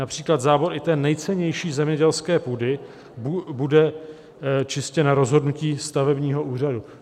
Například zábor i té nejcennější zemědělské půdy bude čistě na rozhodnutí stavebního úřadu."